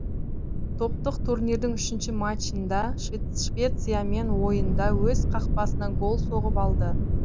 топтық турнирдің үшінші матчында швециямен ойында өз қақпасына гол соғып алды